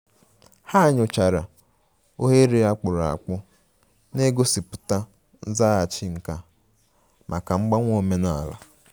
Ha nyochara oghere a kpụrụ akpụ na-egosipụta nzaghachi nka maka mgbanwe omenala